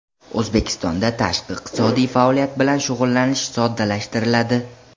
O‘zbekistonda tashqi iqtisodiy faoliyat bilan shug‘ullanish soddalashtiriladi.